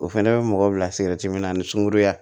O fɛnɛ bɛ mɔgɔw bila sikɛriti minna ni sunkuruya